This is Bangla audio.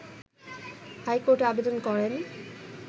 হাইকোর্টে আবেদন করেন